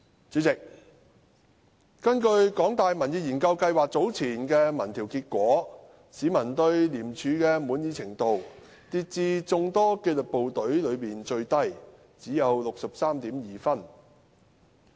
主席，根據香港大學民意研究計劃早前的民調結果，市民對廉署的滿意程度跌至眾多紀律部隊中最低，只有 63.2 分。